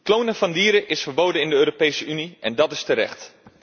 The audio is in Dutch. Klonen van dieren is verboden in de Europese Unie en dat is terecht.